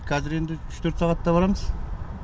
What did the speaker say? қазір енді үш төрт сағатта барамыз